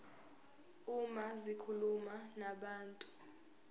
uma zikhuluma nabantu